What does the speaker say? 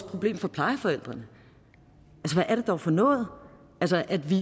problem for plejeforældrene hvad er det dog for noget at vi